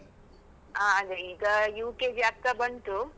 ಹಾ ಅಂದ್ರೆ ಈಗ UKG ಆಗ್ತಾ ಬಂತು.